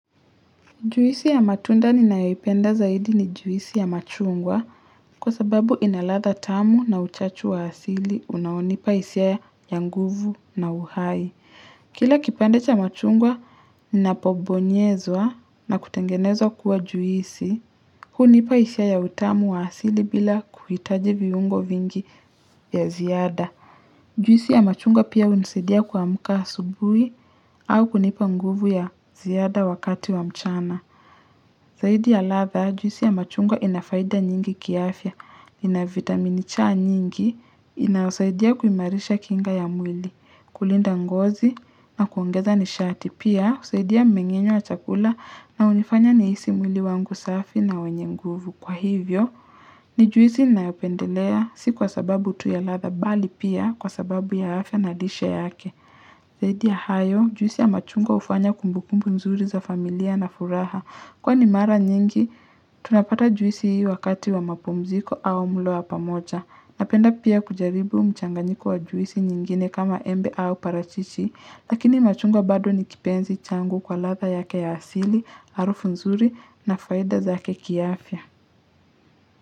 Juisi ya matunda ninayoipenda zaidi ni juisi ya machungwa kwa sababu inaladha tamu na uchachu wa asili unaonipa isia ya nguvu na uhai. Kila kipande cha machungwa kinapo bonyezwa na kutengenezwa kuwa juisi hunipa isia ya utamu wa asili bila kuhitaji viungo vingi ya ziada. Juisi ya machungwa pia unisadia kuamka asubui au kunipa nguvu ya ziada wakati wa mchana. Zaidi ya ladha, juisi ya machungwa inafaida nyingi kiafya, inavitamini chaa nyingi, inausaidia kumarisha kinga ya mwili, kulinda ngozi na kuongeza nishati. Pia, usaidia mmengenyo wa chakula na unifanya nihisi mwili wangu safi na wenye nguvu. Kwa hivyo, ni juisi inayopendelea, si kwa sababu tuya ladha bali pia, kwa sababu ya afya na lishe yake. Zaidi ya hayo, juisi ya machungwa ufanya kumbukumbu nzuri za familia na furaha. Kwa ni mara nyingi, tunapata juisi hii wakati wa mapumziko au mlo wa pamoja. Napenda pia kujaribu mchanganyiko wa juisi nyingine kama embe au parachichi, lakini machungwa bado ni kipenzi changu kwa ladha yake ya asili, arufu nzuri na faida zake kiafya.